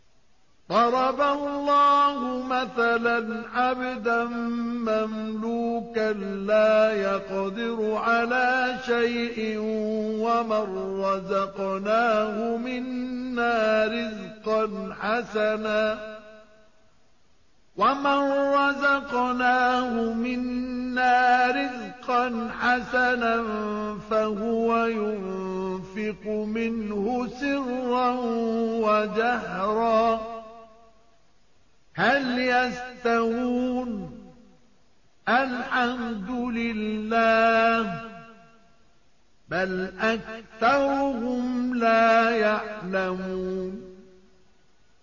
۞ ضَرَبَ اللَّهُ مَثَلًا عَبْدًا مَّمْلُوكًا لَّا يَقْدِرُ عَلَىٰ شَيْءٍ وَمَن رَّزَقْنَاهُ مِنَّا رِزْقًا حَسَنًا فَهُوَ يُنفِقُ مِنْهُ سِرًّا وَجَهْرًا ۖ هَلْ يَسْتَوُونَ ۚ الْحَمْدُ لِلَّهِ ۚ بَلْ أَكْثَرُهُمْ لَا يَعْلَمُونَ